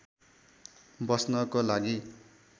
बस्नको लागि।